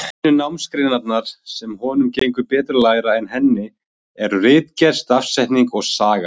Einu námsgreinarnar, sem honum gengur betur að læra en henni, eru ritgerð, stafsetning og saga.